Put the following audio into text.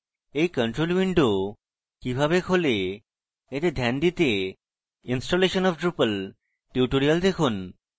এই control window কিভাবে খোলে এতে ধ্যান দিতে installation of drupal tutorial দেখুন